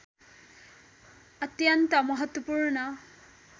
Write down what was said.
अत्यन्त महत्त्वपूर्ण